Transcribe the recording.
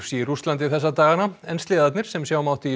í Rússlandi þessa dagana en sleðarnir sem sjá mátti í